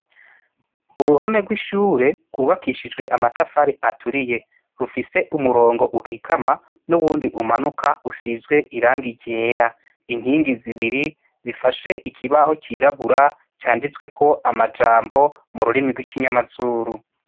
Uruhome rw’ishure rwubakishijwe amatafari aturiye rufise umurongo ukikama n’uwundi umanuka usizwe irangi ryera, inkingi zibiri zifashe ikibaho c’irabura canditsweko amajambo mu rurimi rw’ikinyamazuru.